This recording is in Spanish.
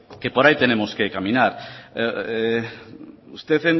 que por ahí tenemos que caminar usted